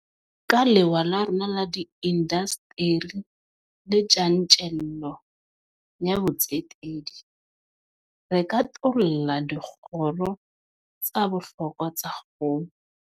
Ka lewa la rona la diindasteri le tjantjello ya botsetedi, re katolla dikgoro tsa bohlokwa tsa kgolo.